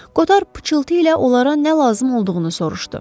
Koter pıçıltı ilə onlara nə lazım olduğunu soruşdu.